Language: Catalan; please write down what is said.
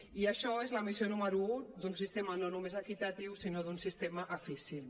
i això és la missió número un d’un sistema no només equitatiu sinó d’un sistema eficient